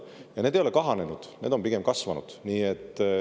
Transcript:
Ja need ei ole kahanenud, need on pigem kasvanud.